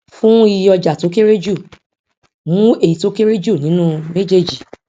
fún iye ọjà tó kéré jù mú èyí tó kéré jù nínú méjèèjì